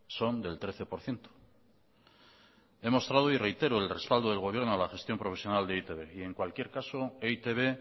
son del trece por ciento he mostrado y reitero el respaldo del gobierno a la gestión profesional de e i te be y en cualquier caso e i te be